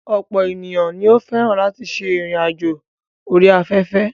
Ọ̀pọ̀ ènìyàn ni ó fẹ́ràn láti ṣe ìrìn àjò orí afẹ́fẹ́.